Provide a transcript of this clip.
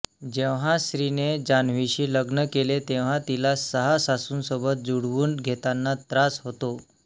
जेव्हा श्रीने जान्हवीशी लग्न केले तेव्हा तिला सहा सासूंसोबत जुळवून घेताना त्रास होतो